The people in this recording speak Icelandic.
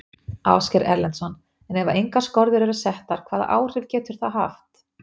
Ásgeir Erlendsson: Ef að engar skorður eru settar hvaða áhrif getur það haft?